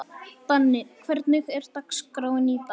Danni, hvernig er dagskráin í dag?